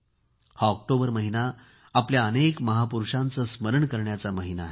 हा ऑक्टोबर महिना आपल्या अनेक महापुरूषांचे स्मरण करण्याचा महिना आहे